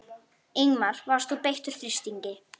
Ingimar: Varst þú beittur þrýstingi?